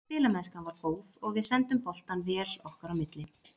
Spilamennskan var góð og við sendum boltann vel okkar á milli.